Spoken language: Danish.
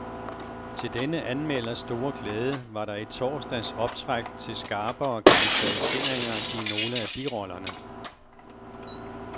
Til denne anmelders store glæde var der i torsdags optræk til skarpere karakteriseringer i nogle af birollerne.